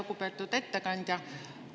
Lugupeetud ettekandja!